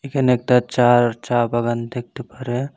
এখানে একটা চার চা বাগান দেখতে পারে।